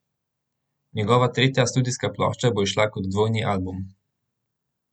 Njegova tretja studijska plošča bo izšla kot dvojni album.